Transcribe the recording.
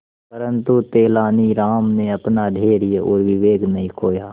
परंतु तेलानी राम ने अपना धैर्य और विवेक नहीं खोया